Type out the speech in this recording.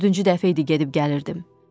Dördüncü dəfə idi gedib gəlirdim.